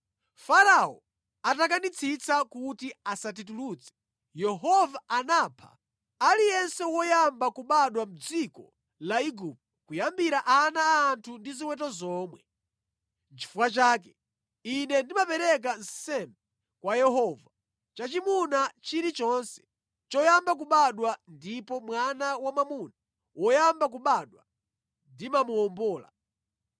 Farao atakanitsitsa kuti asatitulutse, Yehova anapha aliyense woyamba kubadwa mʼdziko la Igupto, kuyambira ana a anthu ndi ziweto zomwe. Nʼchifukwa chake ine ndimapereka nsembe kwa Yehova, chachimuna chilichonse choyamba kubadwa ndipo mwana wamwamuna woyamba kubadwa ndimamuwombola.’